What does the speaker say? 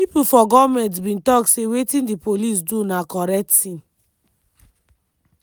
pipo from goment bin tok say wetin di police do na correct tin.